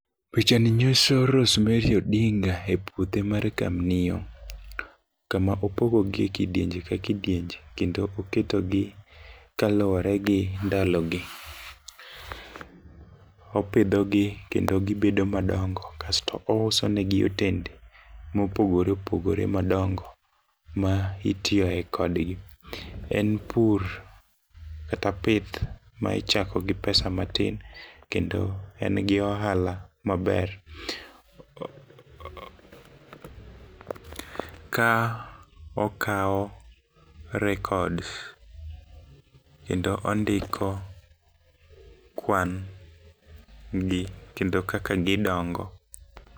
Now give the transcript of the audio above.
Picha ni nyiso Rosemary Odinga e puothe mar kamnio kama opogo gie kidienje ka kidienje kendo oketogi kaluwore gi ndalo gi. Opidho gi kendo gibedo madongo kasto ouso negi otende mopogore madongo ma itiyo e kodgi . En pur kata pith ma ichako gi pesa matin kendo en gi ohala maber . Ka okawo records kendo ondiko kwan gi kendo kaka gidongo.